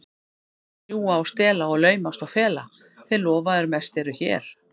Sumir ljúga og stela og laumast og fela, þeir lofaðir mest eru hér.